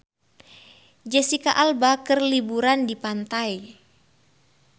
Jesicca Alba keur liburan di pantai